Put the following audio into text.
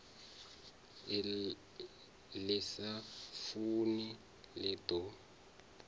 ḽi sa funi ḽi ḓo